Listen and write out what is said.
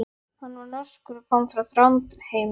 Hann var norskur og kom frá Þrándheimi.